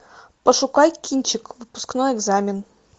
пошукай кинчик выпускной экзамен